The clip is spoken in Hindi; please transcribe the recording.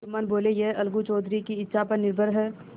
जुम्मन बोलेयह अलगू चौधरी की इच्छा पर निर्भर है